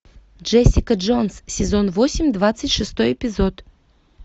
джессика джонс сезон восемь двадцать шестой эпизод